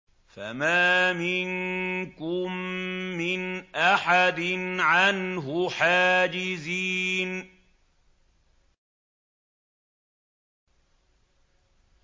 فَمَا مِنكُم مِّنْ أَحَدٍ عَنْهُ حَاجِزِينَ